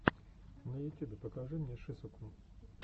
на ютюбе покажи мне шисукун